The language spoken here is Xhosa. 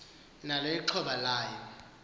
nalo ixhoba layo